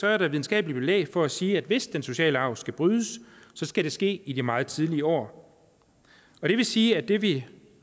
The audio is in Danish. er der videnskabeligt belæg for at sige at hvis den sociale arv skal brydes så skal det ske i de meget tidlige år det vil sige at det vi